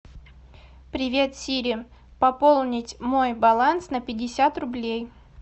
привет сири пополнить мой баланс на пятьдесят рублей